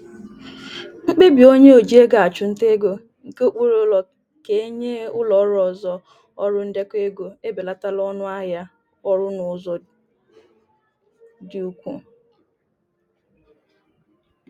Mkpebi onye oji ego achụ nta ego nke okpuru ulo ka enye ụlọọrụ ọzọ ọrụ ndekọ ego ebelatala ọṅụ ahịa ọrụ n'ụzọ dị ukwuu.